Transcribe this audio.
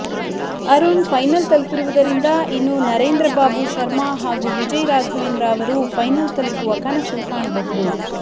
Arun final ತಲುಪಿರುವುದ್ದರಿಂದ ಇನ್ನು ನರೇಂದ್ರ ಬಾಬು ಶರ್ಮಾ ಹಾಗೂ ವಿಜಯ್ ರಾಘವೇಂದ್ರ ಅವರು ಫೈನಲ್ ತಲುಪುವ ಕನಸು ಕಾಣಬಹುದು